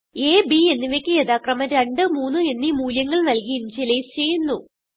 അ b എന്നിവയ്ക്ക് യഥാക്രമം 2 3 എന്നീ മൂല്യങ്ങൾ നല്കി ഇനിഷ്യലൈസ് ചെയ്യുന്നു